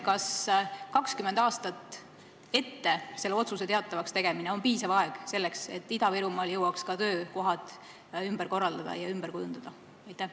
Kas 20 aastat ette selle otsuse teatavakstegemine on piisav selleks, et Ida-Virumaal jõuaks ka töökohad ümber korraldada ja ümber kujundada?